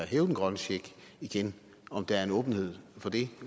hæve den grønne check igen om der er en åbenhed for det